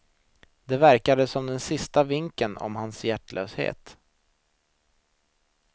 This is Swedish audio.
Det verkade som den sista vinken om hans hjärtlöshet.